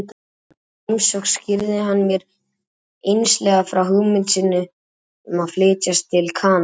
Í þeirri heimsókn skýrði hann mér einslega frá hugmynd sinni um að flytjast til Kanada.